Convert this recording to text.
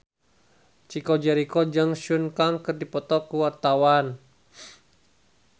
Chico Jericho jeung Sun Kang keur dipoto ku wartawan